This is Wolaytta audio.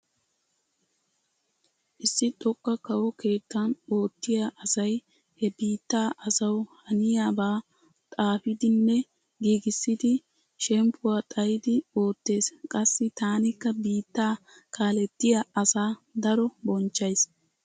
Issi xoqqa kawo keettan oottiya asay he biittaa asawu haniyabaa xaafiiddinne giigissiiddi shemppuwa xayidi oottees. Qassi taanikka biittaa kaalettiya asaa daro bonchchays.